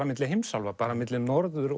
milli heimsálfa bara milli Norður